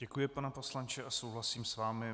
Děkuji, pane poslanče, a souhlasím s vámi.